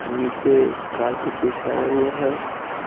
नीचे कारपेट बिछाया हुआ है ।